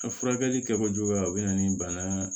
A furakɛli kɛko juguya o bɛ na ni bana